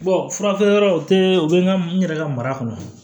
fura feere yɔrɔ o tɛ u bɛ n ka n yɛrɛ ka mara kɔnɔ